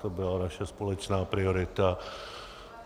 To byla naše společná priorita.